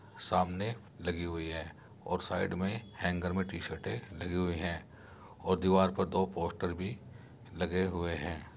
सामने लगी हुई है और साइड में हैंगर में टीशर्टें लगी हुई है और दीवार पर दो पोस्टर भी लगे हुए हैं।